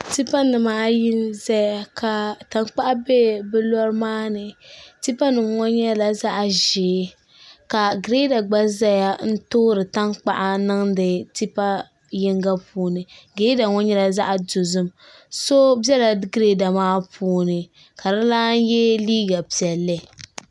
Tipa nim ayi n ʒɛya ka tankpaɣu bɛ bi lori maa ni tipa nim ŋo nyɛla zaɣ ʒiɛ ka girɛda gba ʒɛya n toori tankpaɣu n niŋdi tipa yinga puuni girɛda ŋo nyɛla zaɣ dozim so biɛla girɛda maa puuni ka di lan yɛ liiga piɛlli